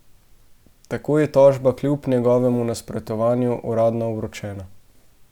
Tako je tožba kljub njegovemu nasprotovanju uradno vročena.